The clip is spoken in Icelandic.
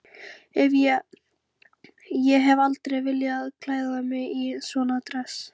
Ég hef aldrei viljað klæða mig í svona dress.